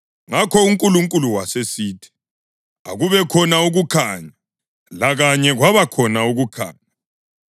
Ngakho uNkulunkulu wasesithi, “Akubekhona ukukhanya,” lakanye kwabakhona ukukhanya.